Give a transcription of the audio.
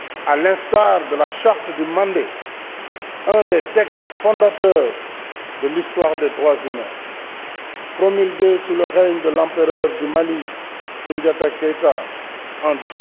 À l'instar de la charte du Mandé, un des textes fondateurs de l'histoire des droits humains, promulguée sous le règne de l'empereur du Mali, Soundiata Keita, en